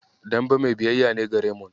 Dembe mai biyayya ne ga Remond.